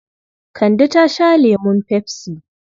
Kande ta sha lemun pepsi.